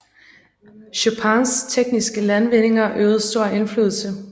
Chopins tekniske landvindinger øvede stor indflydelse